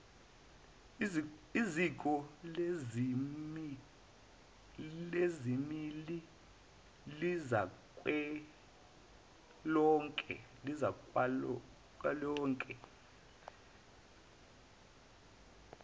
iziko lezilimi zikazwelonke